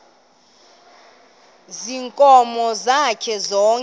ziinkomo zakhe zonke